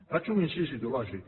faig un incís ideològic